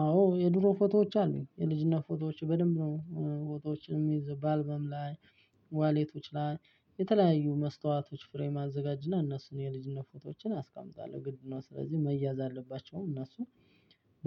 አዎ የድሮ ፎቶዎች አሉኝ የልጅነት ፎቶዎች በድንብ ነው ፎቶዎችን የምይዝ በአልበም ላይ። ዋሌቶች ላይ የተለያዩ መስታወቶች ፍሬም አዘጋጅና እነሱን የልጅነት ፎቶዎችን አስቀምጣለሁ ግድ ነው። ስለዚህ መያዝ አለባቸውም እነሱ